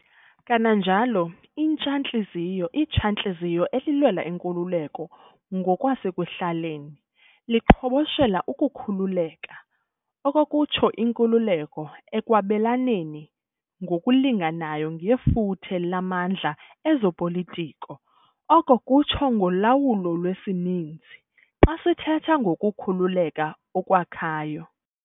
Kananjalo, intsha-ntliziyo itsha-ntliziyo elilwela inkululeko ngokwasekuhlaleni liqhoboshela ukukhululeka, okokutsho, inkululeko, ekwabelaneni ngokulinganayo ngefuthe lamandlaezopolitiko oko kutsho, ngolawulo lwesininzi, xa sithetha ngokukhululeka okwakhayo.